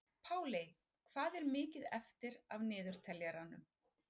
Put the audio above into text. Páley, hvað er mikið eftir af niðurteljaranum?